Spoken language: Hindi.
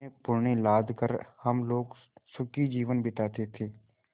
में पण्य लाद कर हम लोग सुखी जीवन बिताते थे